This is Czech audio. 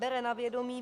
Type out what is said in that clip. Bere na vědomí: